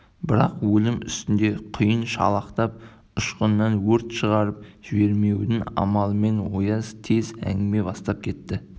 бірақ өлім үстінде құйын шалықтап ұшқыннан өрт шығарып жібермеудің амалымен ояз тез әңгіме бастап кетті